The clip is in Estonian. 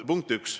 Punkt üks.